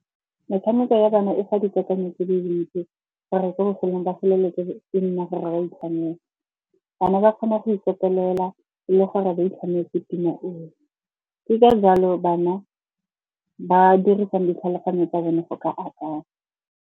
Metshameko ya bana e fa dikakanyo tse dile dintsi, gore ko bofelelong ba feleletse e nna gore ba itlhamela. Bana ba kgona go ikopelela le gore ba itlhametse pina e fe. Ke ka jalo bana ba dirisang ditlhaloganyo tsa bone go ka akanya.